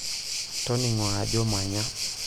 toningo ajo manya